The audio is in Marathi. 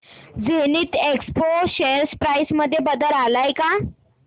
झेनिथएक्सपो शेअर प्राइस मध्ये बदल आलाय का